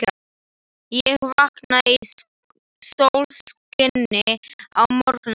Ég vaknaði í sólskini á morgnana.